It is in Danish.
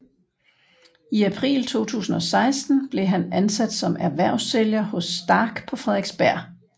I april 2016 blev han ansat som erhvervssælger hos STARK på Frederiksberg